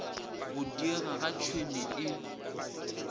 go diega ga tšhwene e